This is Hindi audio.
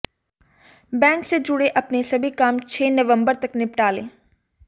बैंक से जुड़े अपने सभी काम छह नवम्बर तक निपटा लें